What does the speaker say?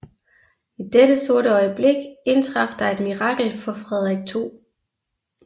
I dette sorte øjeblik indtraf der et mirakel for Frederik 2